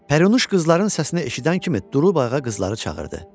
Pərinuş qızların səsini eşidən kimi durub ayağa qızları çağırdı.